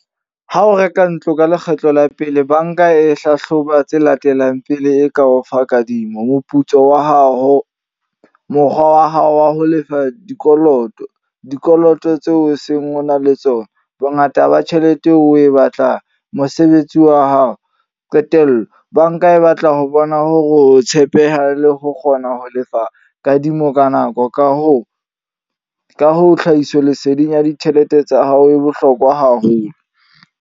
Ha o reka ntlo ka lekgetlo la pele, banka e hlahloba tse latelang pele e ka o fa kadimo. Moputso wa hao, mokgwa wa hao wa ho lefa dikoloto, dikoloto tseo o seng o na le tsona, bongata ba tjhelete eo oe batlang, mosebetsi wa hao. Qetello, banka e batla ho bona ho tshepeha le ho kgona ho lefa kadimo ka nako. Ka hoo, ka hoo, tlhahiso leseding ya ditjhelete tsa hao e bohlokwa haholo.